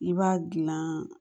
I b'a gilan